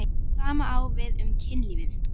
Það sama á við um kynlífið.